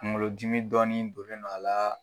Kuŋolodimi dɔɔnin donnen don a la